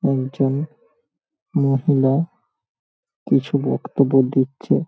একজন মহিলা কিছু বক্তব্য দিচ্ছে ।